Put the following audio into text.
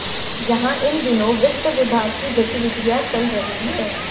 यहां इन दिनों वित्त विभाग की गतिविधियां चल रही हैं